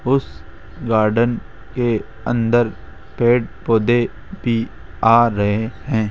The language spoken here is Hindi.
उस गार्डन के अंदर पेड़ पौधे भी आ रहे हैं।